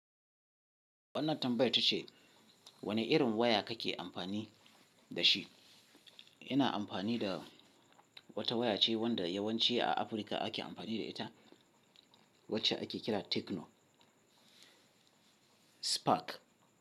Wannan tambayar ta ce wane irin waya kake amfani da shi? Ina amfani da wata waya ce wanda yawanci a Afirka ake amfani da ita, wacce ake kira Techno Spark.